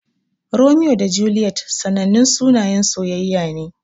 Romeo da Juliet sanannun sunayen soyayya ne.